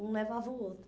Um levava o outro.